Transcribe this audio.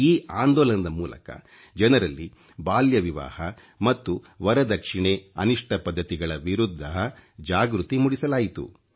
ಈ ಆಂದೋಲನದ ಮೂಲಕ ಜನರಲ್ಲಿ ಬಾಲ್ಯ ವಿವಾಹ ಮತ್ತು ವರದಕ್ಷಿಣೆ ಅನಿಷ್ಟ ಪದ್ಧತಿಗಳ ವಿರುದ್ಧ ಜಾಗೃತಿ ಮೂಡಿಸಲಾಯಿತು